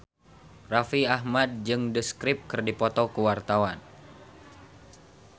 Raffi Ahmad jeung The Script keur dipoto ku wartawan